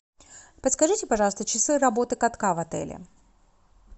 подскажите пожалуйста часы работы катка в отеле